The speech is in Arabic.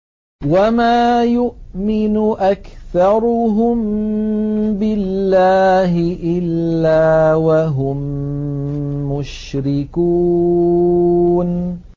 وَمَا يُؤْمِنُ أَكْثَرُهُم بِاللَّهِ إِلَّا وَهُم مُّشْرِكُونَ